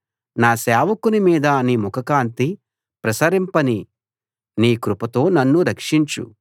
నీ సేవకుని మీద నీ ముఖకాంతి ప్రసరింపనీ నీ కృపతో నన్ను రక్షించు